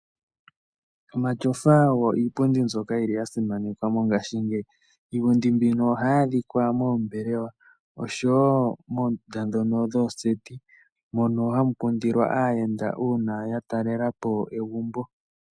Omatyofa ogo iipundi mbyoka yili ya simanekwa mongashingeyi. Iipundi mbika ohayi adhika moombelewa, osho wo moondunda ndhoka dhooseti moka hamu kudilwa aayenda ngele ya talelepo egumbo.